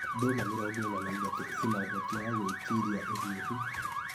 Nduma 43(mĩrongo ĩna na ithatũ) ĩna ũhoti wa gwĩtiria ũhiũhu.